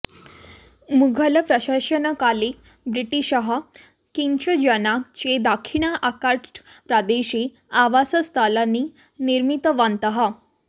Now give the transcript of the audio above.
मुघलप्रशासनकाले ब्रिटिशाः फ़्रेञ्च् जनाः च दक्षिण आर्काट्प्रदेशे आवासस्थलानि निर्मितवन्तः